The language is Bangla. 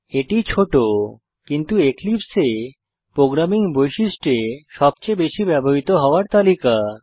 এটি ছোট কিন্তু এক্লিপসে এ প্রোগ্রামিং বৈশিষ্ট্য এ সবচেয়ে বেশি ব্যবহৃত হওয়ার তালিকা